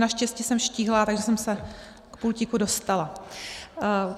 Naštěstí jsem štíhlá, takže jsem se k pultíku dostala.